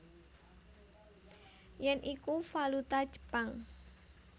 Yen iku valuta Jepang